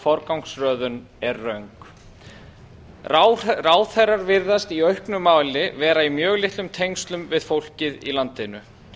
forgangsröðun er röng ráðherrar virðast í auknum mæli vera í mjög litlum tengslum við fólkið í landinu